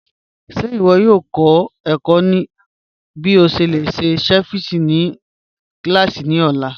Ṣe iwọ yoo kọ ẹkọ̀ bí o ṣe lè ṣe ceviche ni kílásí ni ọ̀la?